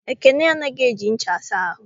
Ekene anaghị eji ncha asa ahụ.